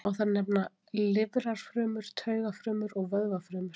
Má þar nefna lifrarfrumur, taugafrumur og vöðvafrumur.